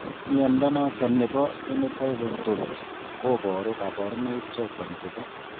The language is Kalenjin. Mnyondo noton nebo Phenotype Ontology koboru kabarunaik choton chebo